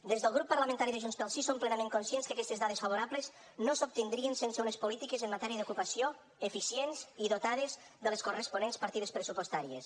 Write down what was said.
des del grup parlamentari de junts pel sí som plenament conscients que aquestes dades favorables no s’obtindrien sense unes polítiques en matèria d’ocupació eficients i dotades de les corresponents partides pressupostàries